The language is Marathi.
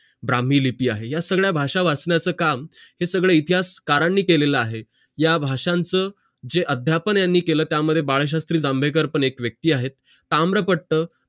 ब्राम्ही लिपी आहे या संज्ञा भाषा वाचण्याचं काम हे सगळं इतिहास करणी केलेलं आहे या भाषांचं जे अध्यापन यांनी केलं त्या मध्ये बाळशास्त्री जांभेकर पण एक व्यक्ती आहेत तामलापट्ट